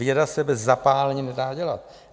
Víra se bez zapálení nedá dělat.